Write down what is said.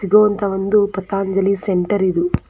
ಇದು ಒಂದು ಅಂತ ಪತಂಜಲಿ ಸೆಂಟರ್ ಇದು.